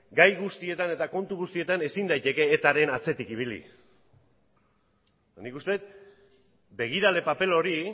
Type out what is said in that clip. gai guztietan eta kontu guztietan ezin daiteke etaren atzetik ibili nik uste dut begirale paper hori